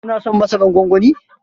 Ki na son masaran gwangwanin?